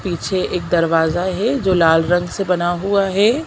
पीछे एक दरवाजा है जो लाल रंग से बना हुआ है।